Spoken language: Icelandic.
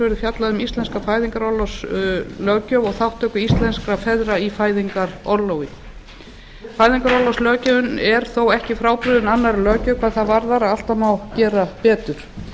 verður fjallað um íslenska fæðingarorlofslöggjöf og þátttöku íslenskra feðra í fæðingarorlofi fæðingarorlofslöggjöfin er þó ekki frábrugðin annarri löggjöf hvað það varðar að alltaf má gera betur